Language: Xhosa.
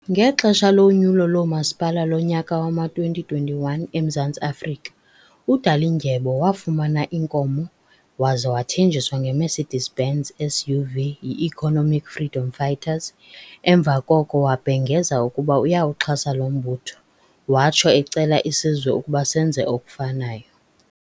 Ngexesha lonyulo loomasipala lonyaka wama2021 eMzantsi Afrika, uDalindyebo wafumana inkomo waza wathenjiswa ngeMercedes -Benz SUV yiEconomic Freedom Fighters, emva koko wabhengeza ukuba uyawuxhasa lo mbutho watsho ecela isizwe ukuba senze okufanayo.